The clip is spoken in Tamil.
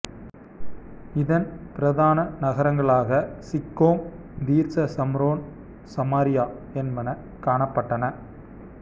இதன் பிரதான நகரங்களாக சிக்கோம் தீர்சா சம்ரோன் சமாரியா என்பன காணப்பட்டன